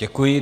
Děkuji.